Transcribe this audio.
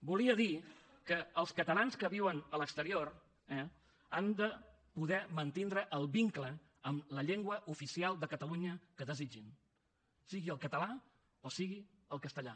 volia dir que els catalans que viuen a l’exterior eh han de poder mantindre el vincle amb la llengua oficial de catalunya que desitgin sigui el català o sigui el castellà